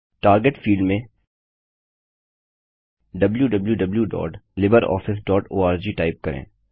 target field में wwwlibreofficeorg type करें